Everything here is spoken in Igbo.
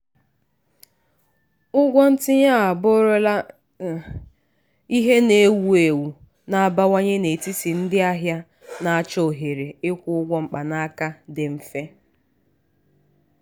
ụgwọ ntinye abụrụla ihe na-ewu ewu na-abawanye n'etiti ndị ahịa na-achọ ohere ịkwụ ụgwọ mkpanaka dị mfe.